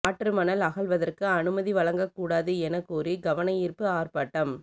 ஆற்று மணல் அகழ்வதற்கு அனுமதி வழங்கக்கூடாது என கோரி கவனயீர்ப்பு ஆர்ப்பாட்டம்